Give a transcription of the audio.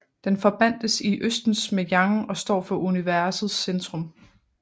Den forbandtes i østens med yang og står for universets centrum